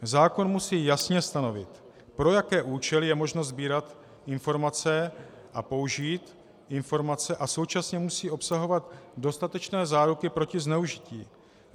Zákon musí jasně stanovit, pro jaké účely je možno sbírat informace a použít informace a současně musí obsahovat dostatečné záruky proti zneužití.